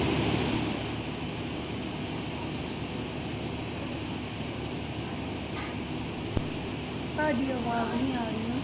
ਤੁਹਾਡੀ ਆਵਾਜ਼ ਨੀ ਆ ਰਹੀ।